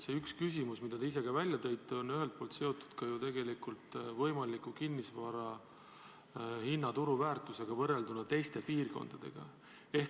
See üks küsimus, mille te ise ka välja tõite, on ühelt poolt seotud ju võimaliku kinnisvara turuväärtusega võrrelduna teiste piirkondadega.